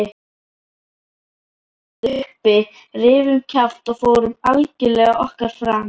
Við óðum uppi, rifum kjaft og fórum algjörlega okkar fram.